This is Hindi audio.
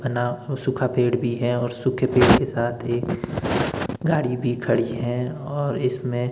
अना वो सूखा पेड़ भी है और सूखे पेड़ के साथ एक गाड़ी भी खड़ी है और इसमें --